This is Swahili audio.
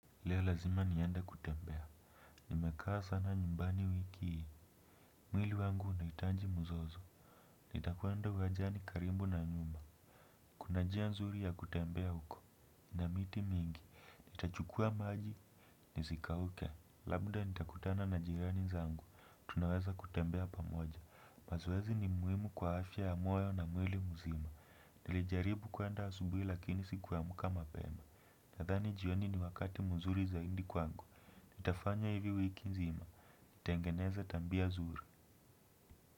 Leo lazima niende kutembea. Nimekaa sana nyumbani wiki hii. Mwili wangu unahitaji mzozo. Nitakwenda uwanjani karibu na nyumba. Kuna njia nzuri ya kutembea huko na miti mingi nitachukua maji. Nisikauke. Labda nitakutana na jirani zangu. Tunaweza kutembea pamoja. Mazoezi ni muhimu kwa afya ya moyo na mwili mzima. Nilijaribu kuenda asubuhi lakini siku amka mapema. Nathani jioni ni wakati mzuri zaidi kwangu nitafanya hivi wiki nzima nitangeneze tabia nzuri.